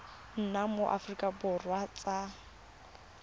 nna mo aforika borwa sa